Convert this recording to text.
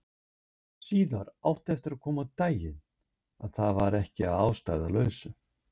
Síðar átti eftir að koma á daginn að það var ekki að ástæðulausu.